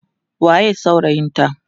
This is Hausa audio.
waye saurayin ta?